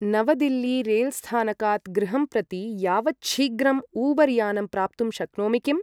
नवदिल्ली रेल्स्थानकात् गृहं प्रति यावच्छीघ्रम् ऊबर् यानं प्राप्तुं शक्नोमि किम्?